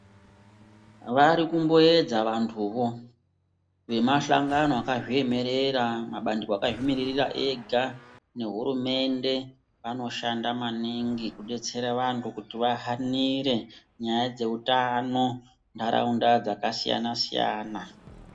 Varikumboedza vantu vo vemahlangano akazviemerera mabandiko akazvimiririra ega nehurumende anoshanda maningi akudetsera vantu kuti vahanire nyaya dzehutano nharaunda dzakasiyana siyana